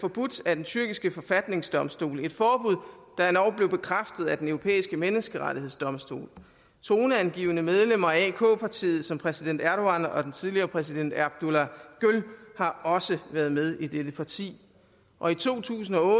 forbudt af den tyrkiske forfatningsdomstol et forbud der endog blev bekræftet af den europæiske menneskerettighedsdomstol toneangivende medlemmer af ak partiet som præsident erdogan og den tidligere præsident abdullah gül har også har været med i dette parti og i to tusind og otte